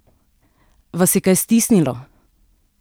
Vas je kaj stisnilo?